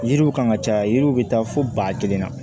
Yiriw kan ka caya yiriw bɛ taa fo ba kelen na